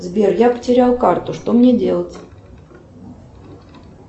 сбер я потерял карту что мне делать